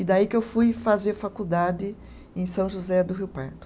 E daí que eu fui fazer faculdade em São José do Rio Pardo.